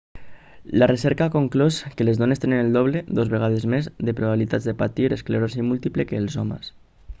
la recerca ha conclòs que les dones tenen el doble 2 vegades més de probabilitats de patir esclerosi múltiple que els homes